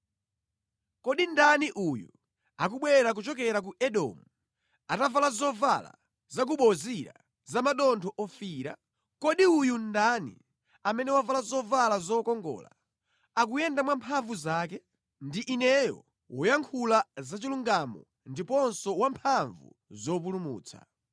Kodi ndani uyo akubwera kuchokera ku Edomu, atavala zovala za ku Bozira za madontho ofiira? Kodi uyu ndani, amene wavala zovala zokongola, akuyenda mwa mphamvu zake? “Ndi Ineyo, woyankhula zachilungamo ndiponso wamphamvu zopulumutsa.”